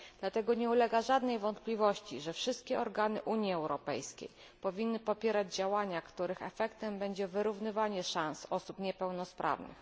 Dlatego nie ulega żadnej wątpliwości, że wszystkie organy Unii Europejskiej powinny popierać działania, których efektem będzie wyrównywanie szans osób niepełnosprawnych.